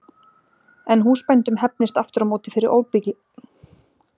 En húsbændum hefnist aftur á móti fyrir óbilgirni sína við lítilmagna og fá makleg málagjöld.